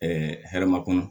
hɛrɛma kɔnɔ